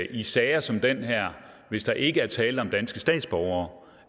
i sager som den her hvis der ikke er tale om danske statsborgere